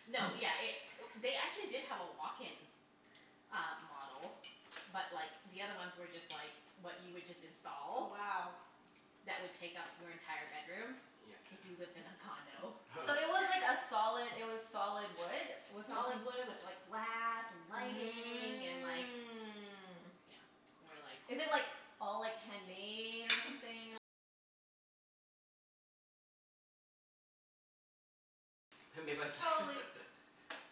No, yeah, it, they actually did have a walk-in uh model but like the other ones were just like what you would just Wow. install that would take up your entire bedroom if Yeah. you lived in a condo. So it was like a solid it was solid wood? Was something Solid wood with like glass and lighting and like, you know. Mm. And we're like Made by s-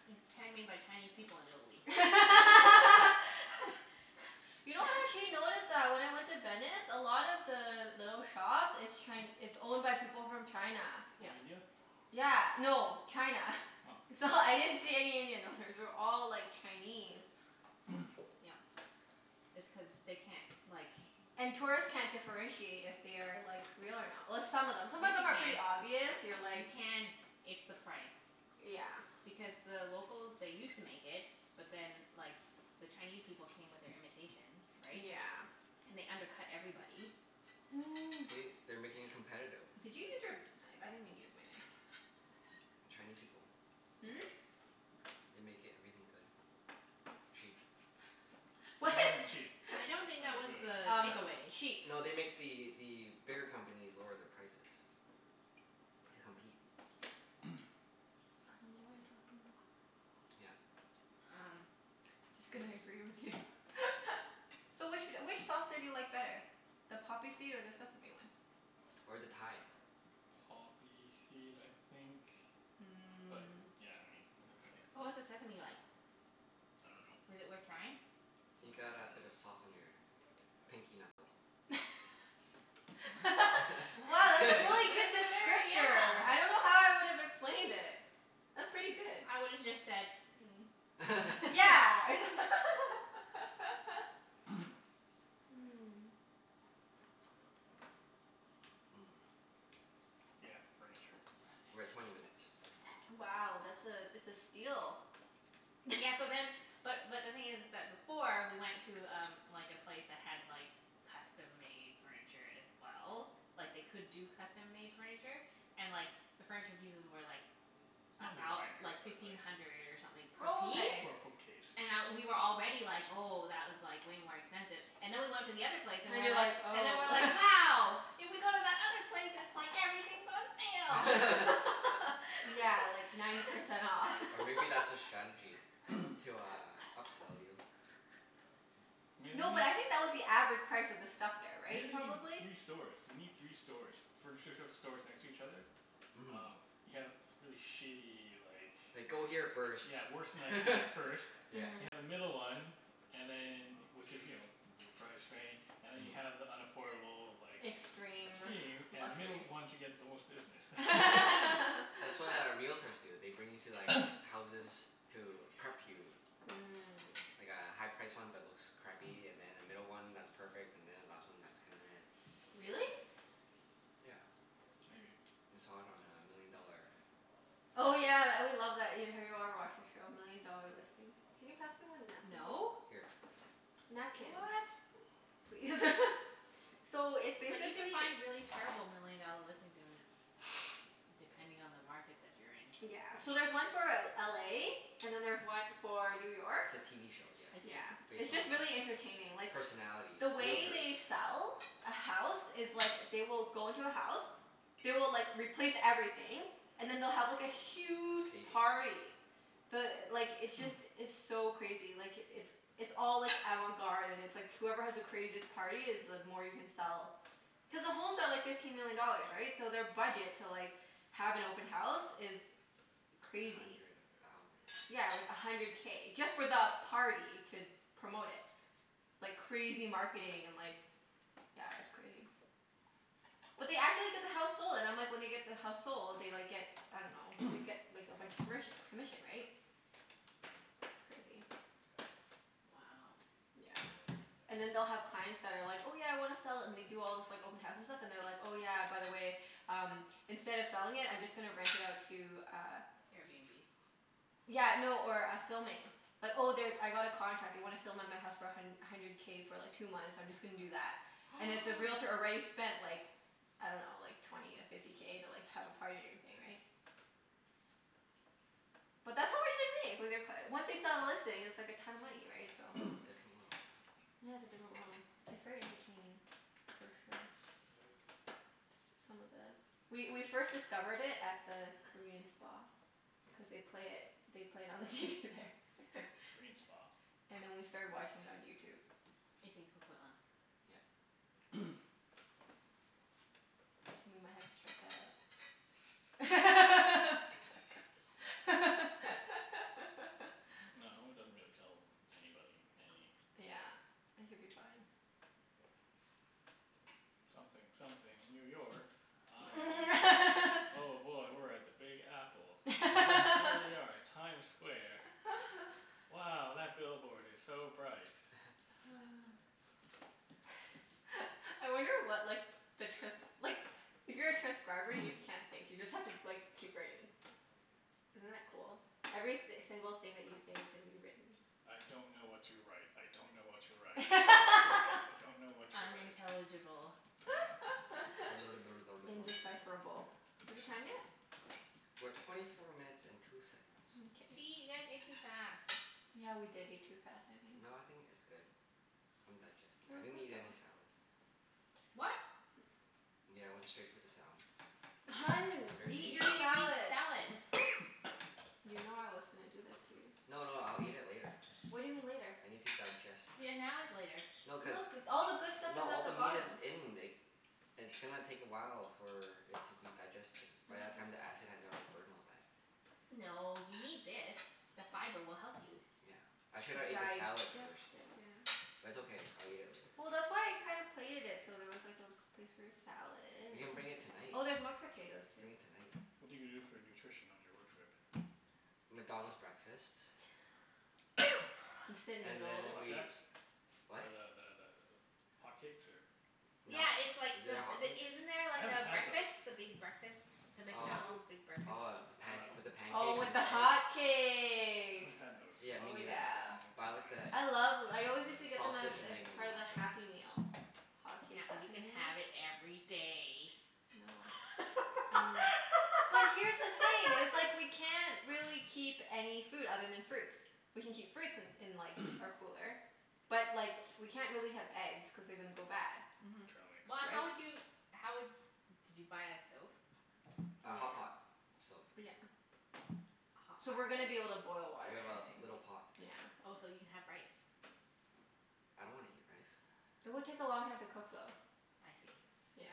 It's handmade by Chinese people in Italy. You know actually I noticed that when I went to Venice, a lot of the little shops, it's Chi- it's owned by people from China. Or Yep. India? Yeah. No. China. Oh. It's all, I didn't see any Indian owners. They were all, like, Chinese. Yep. It's cuz they can't, like And tourists can't differentiate if they are, like, real or not. Well, some of them, some of them are Yes pretty you obvious. can. You're You like can. It's the price. Yeah. Because the locals, they used to make it, but then like the Chinese people came with their imitations, right? Yeah. And they undercut everybody. See? They're making it competitive. Did you use your knife? I didn't even use my knife. Chinese people. Hmm? They make everything good. Cheap. They What? make everything cheap. I I don't dunno think good. that was Um the takeaway. cheap. No, they make the the bigger companies lower their prices. To compete. I dunno what you're talking about. Yeah. Um Just gonna Anyways. agree with you. So which wh- which sauce did you like better? The poppy seed or the sesame one? Or the Thai. Poppy seed, I think. Mm. But yeah, I mean it was okay. What was the sesame like? Was it worth trying? I dunno. I You got a bit of dunno. sauce on your pinky knuckle. Mm? Wow, that's a really That good was a very, descriptor. I yeah don't know how I would've explained it. That's pretty good. I would have just said Yeah. Mmm. Yeah, furniture. We're at twenty minutes. Wow, that's a, it's a steal. Yeah, so then, but but the thing is is that before we went to um like a place that had like custom-made furniture as well. Like they could do custom-made furniture, and like the furniture pieces were like Not a thou- designer, like but like fifteen hundred or something Oh, per okay. For a piece. bookcase. And I, we were already like, "Oh, that was like way more expensive." And then we went to the other And you're place and like, we were "Oh." like and then we were like, "Wow!" If we go to that Yeah, other like ninety place percent off. Or it's maybe that's their like strategy everything's to uh on upsell you? sale. Maybe. No, but I think that was the average price of the stuff there, right? Maybe you need Probably? three stores? You need three stores. Furniture sh- stores next to each other? Mhm. Oh, you have really shitty like Like go here first, Yeah, worse than IKEA first. yeah. You Mhm. have the middle one And then, which is you know, middle price rain And then you have the unaffordable like Extreme. Extreme. And the middle Luxury. one to get the most business. That's what uh realtors do. They bring you to like houses to prep you. Mm. Like a high-priced one but looks crappy, and then a middle one that's perfect, and then a last one that's kind of Really? Yeah. Maybe. We saw it on uh Million Dollar Oh Listings. yeah, tha- we love that, have you ever watched that show? Million Dollar Listings. Can you pass me one napkin, No. please? Here. What? Napkin please. So, it's But you can basically find really terrible million dollar listings in, depending on the market that you're in. Yeah. So there's one for L- LA and then there's one for New York. It's a TV show, yeah. I Yeah. see. Based It's on just really entertaining. uh Like personalities. The way Realtors. they sell a house is like, they will go into a house. They will like, replace everything, and then they'll have like a huge Staging. party. The, like, it's just, it's so crazy. Like, it's it's all like avant-garde and it's like whoever has the craziest party is the more you can sell. Cuz the homes are like fifteen million dollars, right? So their budget to like, have an open house is A crazy. hundred thousand. Yeah, like a hundred K, just for the party to promote it. Like crazy marketing and like yeah, it's crazy. But they actually get the house sold, and I'm like, when they get the house sold they like get, I dunno, they get like a bunch of commerc- commission, right? It's crazy. Wow. Yeah. And then they'll have clients that are like, "Oh yeah, I wanna sell it," and they do all this like open house and stuff, and they're like, "Oh yeah, by the way, um instead of selling it I'm just gonna rent it out to uh" Airbnb? Yeah, no, or a filming. Like, "Oh they, I got a contract. They wanna film at my house for a hun- hundred K for like two months. I'm just gonna do that." And if the realtor already spent like, I dunno, like twenty to fifty K to like have a party and everything, right? But that's how much they make. Like they're c- once they sell a listing it's like a ton of money, right? So Different world. Yeah, it's a different world. It's very entertaining for sure. S- some of the, we we first discovered it at the Korean spa. Cuz Mhm, yes. they'd play it, they played it on the TV there. Korean spa? And then we started watching it on YouTube. It's in Coquitlam. Yep. We might have to strike that out. No, it doesn't really tell anybody any thing. Yeah. It could be fine. Something something New York. I'm, oh boy, we're at the Big Apple. H- here we are at Times Square. Wow, that billboard is so bright. I wonder what like the trans- like, if you're a transcriber you just can't think. You just have to like keep writing. Isn't that cool? Every th- single thing that you say is gonna be written. I don't know what to write. I don't know what to write. I don't know what to write. I don't know what to write. Unintelligible. Indecipherable. Is it time yet? We're twenty four minutes and two seconds. Gee, Mkay. you guys ate too fast. Yeah, we did eat too fast, I think. No, I think it's good. I'm digesting. That I was didn't quick eat any though. salad. What? Yeah, I went straight for the salmon. It was Hun, very eat tasty. your You need to salad. eat salad. You know I was gonna do this to you. No, no, I'll eat it later. What do you mean, later? I need to digest. Yeah, now is later. No Look. cuz, All the good stuff no is all at the the meat bottom. is in It's gonna take a while for it to be digested. By that time the acid has already burned all that. No, you need this. The fiber will help you. Yeah. I shoulda ate the salad Digest first. it, yeah. But it's okay. I'll eat it later. Well, that's why I kinda plated it so there was like a place for your salad. We can bring it tonight. Oh, there's more potatoes, too. Bring it tonight. What are you gonna do for nutrition on your road trip? McDonald's breakfast. Instant And then noodles. we, Flapjacks? what? Or the the the th- hotcakes or No. Yeah it's like, Is it a the the, hotcakes? isn't there a I haven't had those. breakfast? The big breakfast? The Oh. McDonald's big breakfast? Oh the I panc- dunno. with the Oh, pancakes with and the the eggs? I hotcakes. haven't had those for Yeah, me Oh neither. a yeah. long Buy like the time. I love th- I always used to get them as sausage and as egg part of the McMuffin. Happy Meal. Hotcakes Now you Happy can Meal. have it every day. No. Mm. But here's the thing, it's like we can't really keep any food other than fruits. We can keep fruits in in like, our cooler. But, like, we can't really have eggs cuz they're gonna go bad. Mhm. Trail mix. But Right? how would you, how would, did you buy a stove? A Yeah. hotpot stove. Yeah. A hot So pot we're gonna be able to stove? boil water We and have a everything. little pot. Yeah. Oh, so you can have rice. I don't wanna eat rice. It would take a long time to cook, though. I see. Yeah.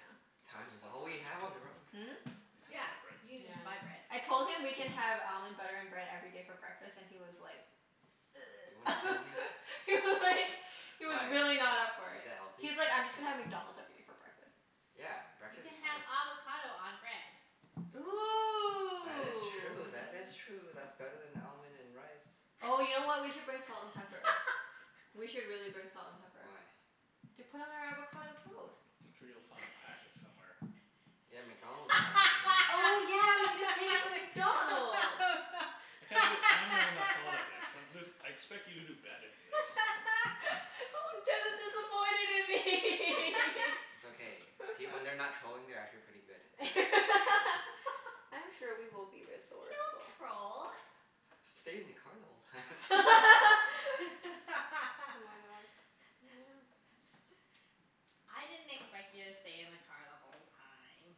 You'll have Time to is buy all we bread. have on the road. Hmm? You still need Yeah, buy you bread. can Yeah. j- buy bread. I told him we can have almond butter and bread every day for breakfast and he was like You wanna kill me? He was like He was Why, really not up for is it. that healthy? He was like, "I'm just gonna have McDonald's every day for breakfast." Yeah, You breakfast can is fine. have avocado on bread. That Ooh, is true. That is true. yes. That's better than almond and rice. Oh you know what? We could bring salt and pepper. We should really bring salt and pepper. Why? To put on our avocado toast. I'm sure you'll find packets somewhere. Yeah, McDonald's packet, you know? Oh yeah, we can just take it from McDonald's. I can't believe I'm the one that thought of this. I- this, I expect you to do better than this. Oh, Jeff is disappointed in me. It's okay. See? When they're not trolling they're actually pretty good and nice. I'm sure we will be We resourceful. don't troll. "Stayed in the car the whole time." Oh my god, yeah. I didn't expect you to stay in the car the whole time.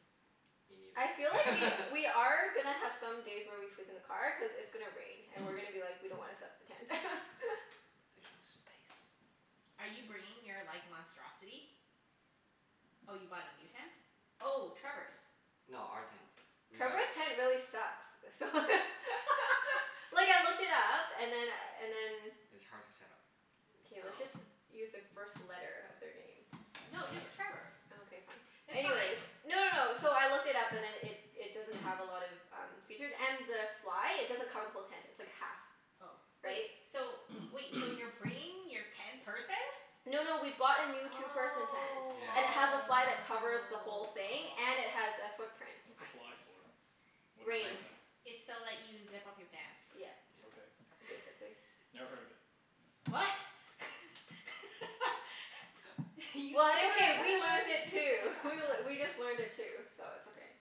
Me I feel like we neither. we are gonna have some days where we sleep in the car, cuz it's gonna rain and we're gonna be like, "We don't wanna set up the tent." There's no space. Are you bringing your like monstrosity? Oh, you bought a new tent? Oh, Trevor's. No, our tent. We gotta Trevor's tent really sucks. So Like, I looked it up and then and then It's hard to set up. K, let's just Oh. use the first No, letter of their name. just It don't matter. Trevor. Okay, fine. It's Anyways fine. No, no, no. So I looked it up and then it it doesn't have a lot of um features. And the fly, it doesn't cover the whole tent. It's like a half Oh. Wait, Right? so wait. So you're bringing your ten-person? No, no, we bought a new Oh. two-person tent. And it has a Yeah fly that covers the whole thing. And it has a footprint. What's a fly I see. for? What is a Rain. Tighten. fly? It's so that you zip up your pants. Yeah. Yep. Okay. Basically. Never heard of it. What? You've never Well, it's okay. We learnt it too. We heard just learned it too, so it's okay.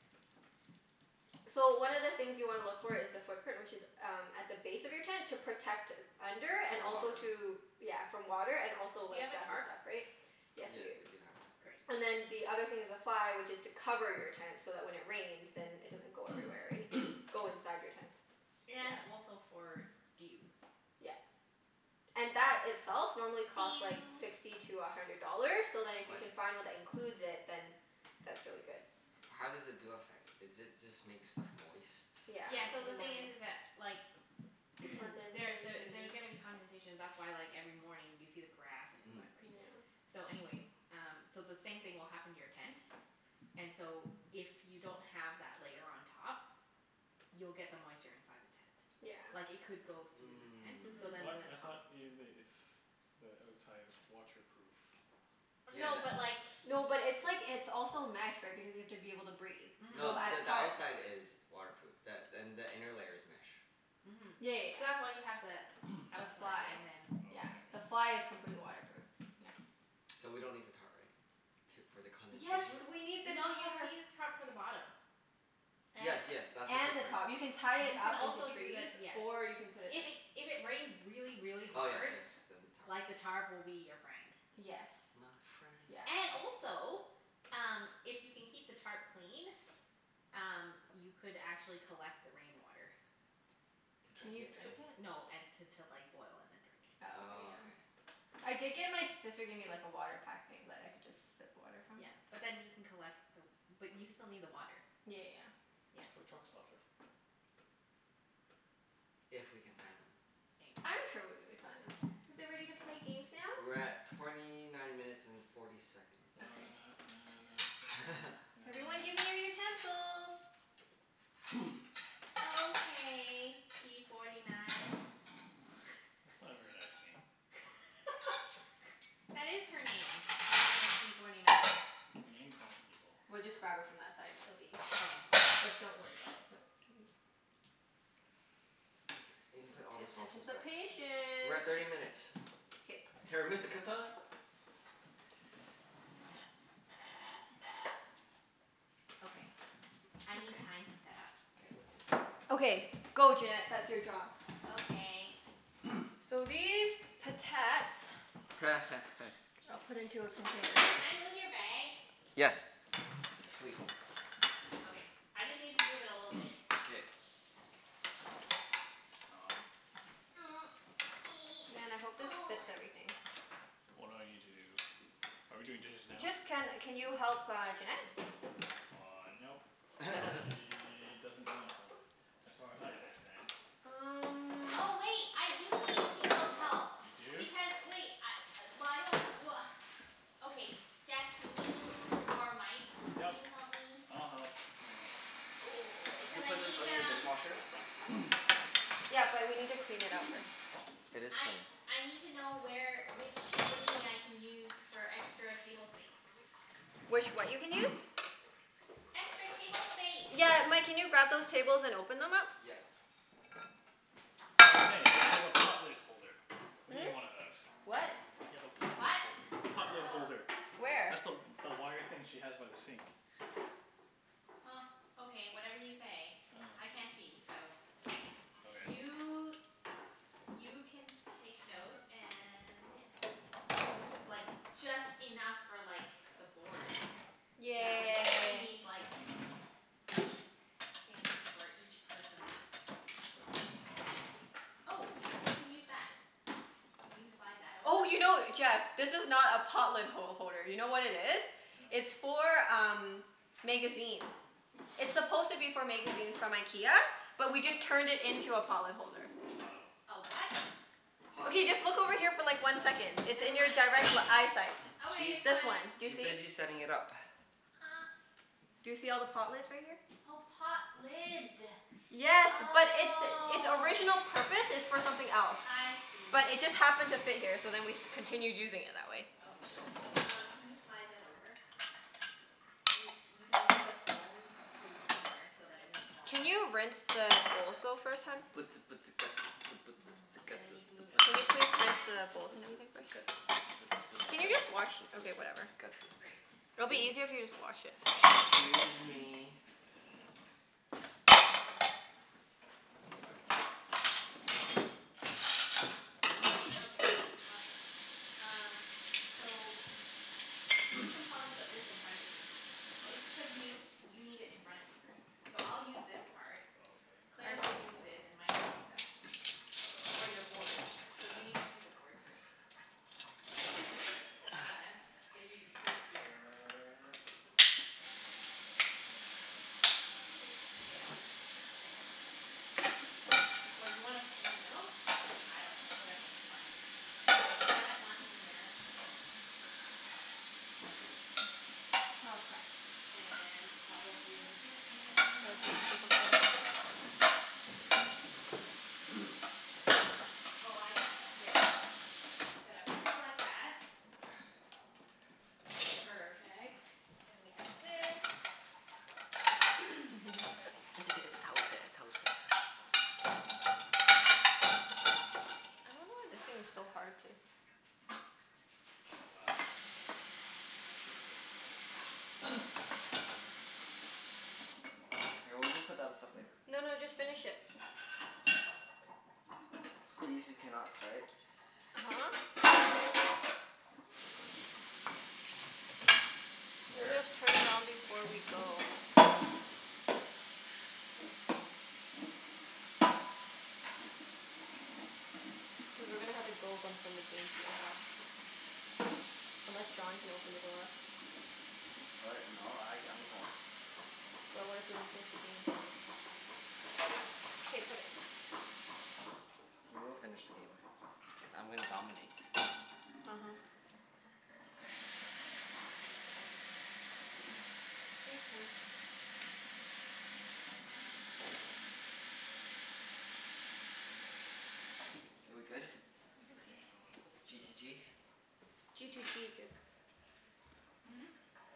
So, one of the things you wanna look for is the footprint, which is um at the base of your tent to protect under, and The also water. to Yeah, from water and also Do you like have a dust and tarp? stuff, right? Yes, we do. Yep, we do have a tarp. Great. And then the other thing is the fly which is to cover your tent, so that when it rains then it doesn't go everywhere, right? Go inside your tent. And Yeah. also for dew. Yeah. And that itself normally costs like Dew. sixty to a hundred dollars, so then if you What? can find one that includes it, then that's really good. How does the dew affect? Is it just make stuff moist from Yeah, Yeah, so in the the thing is morning. is that like there's a, Condensation. there's gonna be condensation. That's why like every morning you see the grass and it's Mhm. wet, right? Yeah. So anyways, um so the same thing will happen to your tent and so if you don't have that layer on top you'll get the moisture inside the tent. Yeah. Like it could go though the tent so What? Mhm. then I the thought top Mm. ev- it's the outside is waterproof. No, but Yeah, like that th- No, but it's like, it's also mesh right, because you have to be able to breathe. So No, Mhm. the at the parts outside is waterproof, th- and the inner layer is mesh. Mhm. Yeah, yeah, So yeah. that's why you have the The The outside fly? fly. and then Yeah. this Oh, The okay. thing. fly is completely waterproof. Yeah. Mhm. So we don't need the tarp, right? T- for the Yes, condensation? we need the N- no you need to tarp. use tarp for the bottom. Yes, yes, that's the And the footprint. top. You can tie it up You into can also trees, do the, or yes. you can put it If it, if it rains really, Oh really yes, hard yes, then tarp. like the tarp will be your friend. Yes. My friend. Yeah. And also, um if you can keep the tarp clean um you could actually collect the rain water. To Can drink you it? drink it? No, and t- to like boil and then drink. Oh, okay, Oh, yeah. okay. I did get, my sister gave me like a water pack thing that I could just sip water from. Yeah. But then you can collect the w- but you still Yeah, yeah, need yeah. the water. That's Yeah. what truck stops are for. If we can find them. Maybe. I'm sure we'll be able to find them. Are Is we it ready to ready play to games play now? games We're now? at torny nine minutes and forty seconds. Na na Okay. na. Na na na. Na na na. Na Everyone na give me your na. utensils. Okay p forty nine. That's not a very nice name. That is her name. Her name is p forty nine. You're name-calling people. We'll just grab it from that side and it'll be easier. But don't worry about it, don't Okay. You can P- put all the p- sauces back. anticipation. We're at thirty minutes. K. Terra Mystica time. Okay, I need Okay. time to set up. K. Okay. Go Junette. That's your job. Okay. So these potats I'll put into a container. Can I move your bag? Yes. Please. Okay, I just need to move it a little bit. K. Um. Man, I hope this fits everything. What do I need to do? Are we doing dishes now? Just, can can you help uh Junette? Uh, nope. Nope. She doesn't want help, as far as I understand. Um Oh wait, I do need people's help. You do? Because wait, I, well I don't, well Okay, Jeff can you, or Mike can Yep. you help me? I'll help. Hold on. Oh, do we Cuz I put this need on the um dishwasher? Yeah, but we need to clean it out first. It is I clean. I need to know where, which thingie I can use for extra table space. Which what you can use? Extra table space. Got Yeah, it. Mike, can you grab those tables and open them up? Yes. Oh hey, you have a pot lid holder. We Hmm? need one of those. What? You have a pot lid What? holder. Pot lid holder. Where? Where? That's the w- the wire thing she has by the sink. Huh. Okay, whatever you say. I can't see, so Okay. You you can take note and yeah Oh, this is like just enough for like the board. Yeah, we Okay. definitely Yay. need like things for each person's It's okay. We'll manage. Oh, we can use that. Can you slide that over? Oh, you know, Jeff? This is not a pot lid ho- holder. You know what it is? No. It's for um magazines. It's supposed to be for magazines from IKEA. Oh. But we just turned it into a pot lid holder. Oh. A what? Pot Okay, lid. just look over here for like one Okay, second. It's never in your mind. direct l- eyesight. Okay, She's it's This fine. one. Do you she's see? busy setting it up. Do you see all the pot lids right here? Oh, pot lid. Yes, but its its Oh. original purpose is for something else. I see. But it just happened to fit here so then we continued using it that way. I'm Okay. so full. Um can you slide that over? You you can move the phone to somewhere so that it won't fall. Can you rinse the bowls though first, hun? And then you can move it over Can you with the please rinse plant. the bowls and everything first? Oh well, sure. Can you That just works. wash, okay whatever. Great. It'll be 'Scuse easier if you me. just wash it. 'Scuse me. Surprisingly heavy. Okay. Awesome. Um So, you can probably put this in front of you. What It's because you need i- you need it in front of you. So I'll use this part. Okay. Claire I will use this and Mike will use that. For Okay. your board. So you need to pick a board first. Does that make sense? So Okay. you put it here. Sure. Okay boss. There. Yes boss. No boss. Or do you wanna p- sit in the middle? I No. dunno. Whatever, fine. Okay, we'll set up one here. Oh crap. And probably That would be difficult. Oh, I know. There we go. Set up three like that. Perfect. Then we have this. I don't know Okay. why this thing's so hard to Oh, wow. This is good for cult. Here, we'll just put that as stuff later. No no, just finish it. These are cannots, right? uh-huh. We'll Here. just turn it on before we go. Cuz we're gonna have to go from the game to your house. Unless John can open the door. What? No, I I'm going. But what if we don't finish the game? K, put it. We will finish the game, cuz I'm gonna dominate. uh-huh. Ah. Thanks hun. K, we good? Interesting, Okay. I don't know what a cultist G to does. g? G to g bib. Hmm?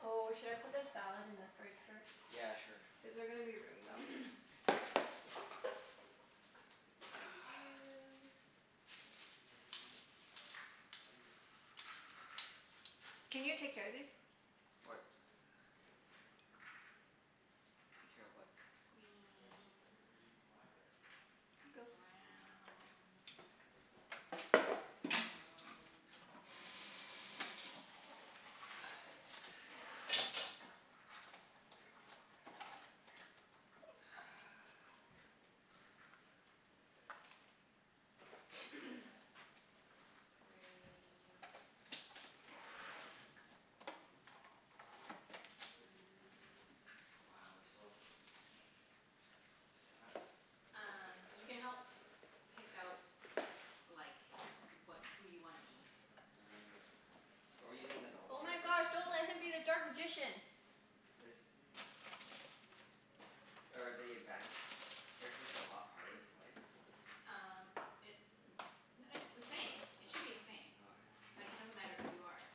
Oh, should I put the salad in the fridge first? Yeah, sure. Is there gonna be room though? Doo dee doo. Can you take care of these? What? Take care of what? Greens. Browns. Yellows. Red. Blacks. We go Grays. Blues. Wow, we're so set up. Um you can help pick out like wha- who you wanna be. Are we using the normal Oh my characters? gosh, don't let him be the dark magician. This Are the advanced characters a lot harder It to play? Um it it's the same. It All should be the same. right. Okay. Like it doesn't matter who you are.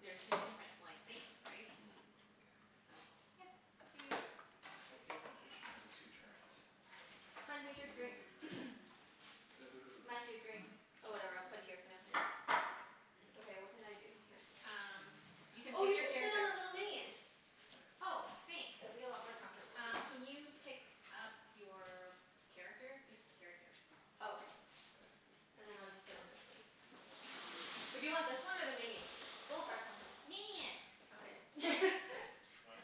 There's just different like things, right? Mm, mkay. So, yeah. Up to you. Okay if magician has a two turns. Double Hun, here's turn. your drink. Ooh. Mike, Ooh. your drink? Oh, whatever. I'll Thanks. put it here for now. Yeah. Okay, what can I do? Here. Um you can Oh, you pick can sit your on the character. little minion. Oh, It'll be thanks. a lot more comfortable. Here. Um can you pick up your character? Pick a character. Oh, okay. And then I'll just sit on this thing. Or do you want this one or the Chinese. minion? Both are comfortable. Minion. Okay. What?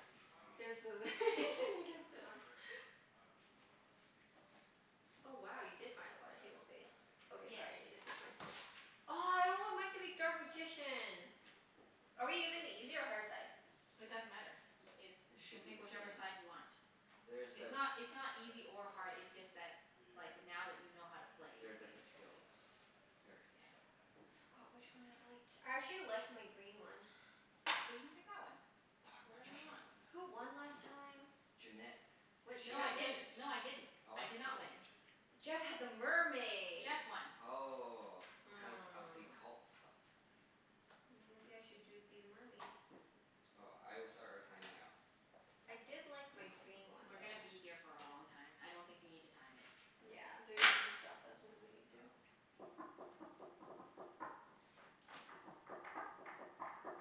There's Oh. th- you can sit on. Oh wow, you did find a lotta table space. Okay, Yes. sorry. I needed the. Oh, I don't want Mike to be dark magician. Are we using the easy or hard side? It doesn't matter. Y- it, It you can should be pick the whichever same. side you want. There's It's the not it's not easy or hard, it's just that like now that you know how to play. There are different skills. Here. Yeah. I forgot which one I liked. I actually liked my green one. So you pick that one. Dark Whatever you magician. want. Who won last time? Junette. What Cuz What? she No had I what the did didn't. ships. No I didn't. Oh, I what? did not Really? win. Jeff had the mermaid. Jeff won. Oh. Cuz of the Hmm. cult stuff. Mm maybe I should do be the mermaid? Oh, I will start our time now. I did like my green one We're though. gonna be here for a long time. I don't think you need to time it. Yeah, they're just gonna stop us when we need to. Oh.